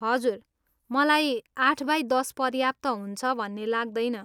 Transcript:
हजुर, मलाई आठ बाई दस पर्याप्त हुन्छ भन्ने लाग्दैन।